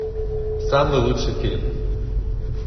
самый лучший фильм